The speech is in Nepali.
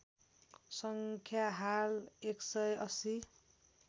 सङ्ख्या हाल १ सय ८०